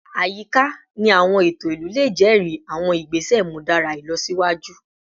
Ayika ni awọn eto ilu le jẹri awọn igbese imudara ilọsiwaju